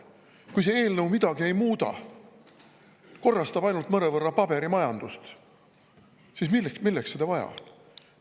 Kui see eelnõu midagi ei muuda, korrastab ainult mõnevõrra paberimajandust, siis milleks seda vaja on?